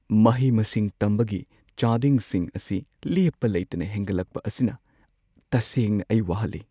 ꯃꯍꯩ-ꯃꯁꯤꯡ ꯇꯝꯕꯒꯤ ꯆꯥꯗꯤꯡꯁꯤꯡ ꯑꯁꯤ ꯂꯦꯞꯄ ꯂꯩꯇꯅ ꯍꯦꯟꯒꯠꯂꯛꯄ ꯑꯁꯤꯅ ꯇꯁꯦꯡꯅ ꯑꯩ ꯋꯥꯍꯜꯂꯤ ꯫